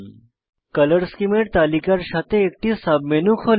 colour scheme তালিকার সাথে একটি সাব মেনু খোলে